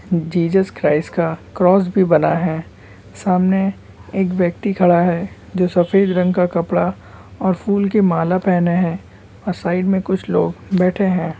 Jesus Christ का cross भी बना है सामने एक व्यक्ति खड़ा है जो सफेद रंग का कपड़ा और फूल के माला पहने हैं। और साइड में कुछ लोग बैठे हैं।